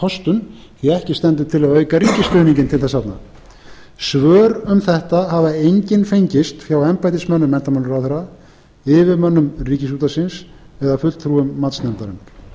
kostun því ekki stendur ætla að auka ríkisstuðningurinn til þess arna svör um þetta hafa engin fengist hjá embættismönnum menntamálaráðherra yfirmönnum ríkisútvarpsins eða fulltrúa matsnefndarinnar því er